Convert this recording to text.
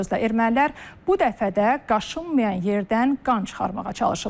Bir sözlə ermənilər bu dəfə də qaşınmayan yerdən qan çıxarmağa çalışırlar.